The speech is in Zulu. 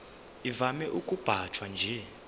ivame ukubanjwa nje